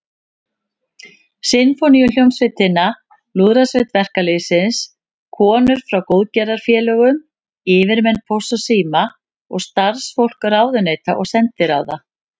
Sinfóníuhljómsveitina, Lúðrasveit verkalýðsins, konur frá góðgerðarfélögum, yfirmenn Pósts og síma og starfsfólk ráðuneyta og sendiráða.